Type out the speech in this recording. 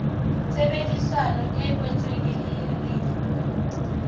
tshebedisano e kwetsweng e lefa